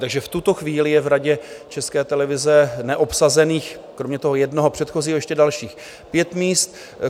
Takže v tuto chvíli je v Radě České televize neobsazených kromě toho jednoho předchozího ještě dalších pět míst.